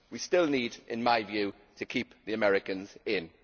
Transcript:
We still need in my view to keep the Americans in.